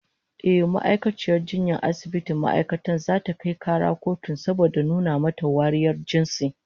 Ehh, ma'aikaciyar jinyar asibitin ma'aikatan zata kai kara kotun saboda nuna mata wariyar jinsi